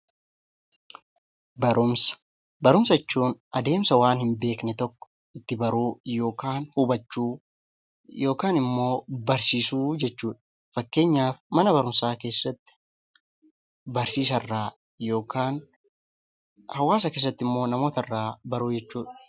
Barumsa Barumsa jechuun adeemsa waan hin beekne tokko itti baruu yookaan hubachuu yookaan immoo barsiisuu jechuu dha. Fakkeenyaaf Mana Barumsaa keessatti Barsiisaa irraa yookaan hawaasa keessatti immoo namoota irraa baruu jechuu dha.